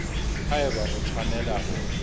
ha eba o tshwanela ho